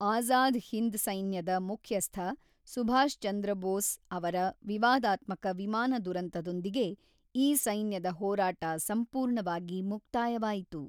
ಆಝಾದ ಹಿಂದ್ ಸೈನ್ಯದ ಮುಖ್ಯಸ್ಥ ಸುಭಾಷಚಂದ್ರ ಬೋಸ್ ಅವರ ವಿವಾದಾತ್ಮಕ ವಿಮಾನ ದುರಂತದೊಂದಿಗೆ ಈ ಸೈನ್ಯದ ಹೋರಾಟ ಸಂಪೂರ್ಣವಾಗಿ ಮುಕ್ತಾಯವಾಯಿತು.